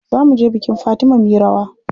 Za muje bikin Fatima muyi rawa.